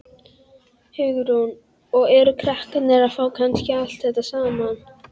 Hugrún: Og eru krakkar að fá kannski allt þetta saman?